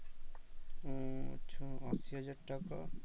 ও আচ্ছা আশি হাজার টাকা